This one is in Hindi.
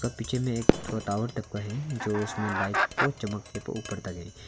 ये पिक्चर में एक थोड़ा टावर टाइप का है जो उसमें लाइट को चमकाने को ऊपर तक है।